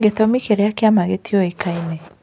Gĩtũmi kĩrĩa kĩama gĩtiũĩkaine